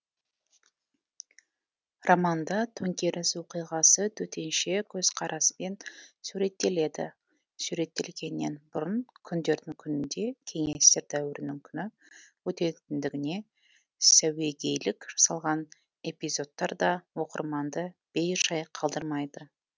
романда төңкеріс оқиғасы төтенше көзқараспен суреттеледі суреттелгеннен бұрын күндердің күнінде кеңестер дәуірінің күні өтетіндігіне сәуегейлік жасалған эпизодтар да оқырманды бей жай қалдырмайды